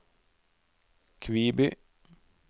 Kviby